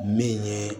Min ye